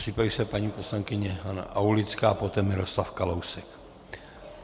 Připraví se paní poslankyně Hana Aulická a poté Miroslav Kalousek.